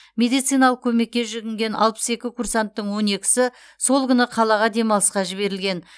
медициналық көмекке жүгінген алпыс екі курсанттың он екісі сол күні қалаға демалысқа жіберілген